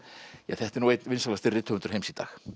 ja þetta er einn vinsælasti rithöfundur heims í dag